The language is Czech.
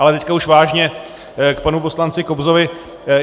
Ale teď už vážně k panu poslanci Kobzovi.